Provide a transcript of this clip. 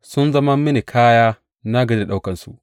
Sun zama mini kaya; na gaji da ɗaukansu.